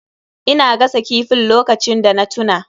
Ina gasa kifin lokacin da na tuna.